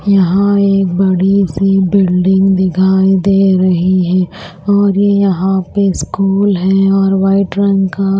यहां एक बड़ी सी बिल्डिंग दिखाई दे रही है और ये यहां पे स्कूल है और वाइट रंग का--